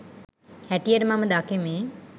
හැටියට මම දකිමි